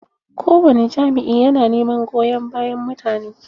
Kowani jami'ya na neman goyon bayan mutane.